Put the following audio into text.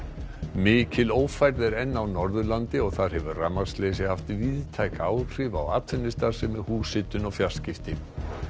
mikil ófærð er enn á Norðurlandi og þar hefur rafmagnsleysi haft víðtæk áhrif bæði á atvinnustarfsemi húshitun og fjarskipti